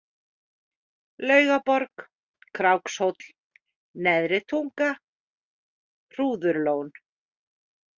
Laugaborg, Krákshóll, Neðri tunga, Hrúðurlón